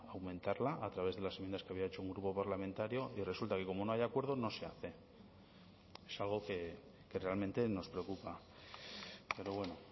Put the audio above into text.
aumentarla a través de las enmiendas que había hecho un grupo parlamentario y resulta que como no hay acuerdo no se hace es algo que realmente nos preocupa pero bueno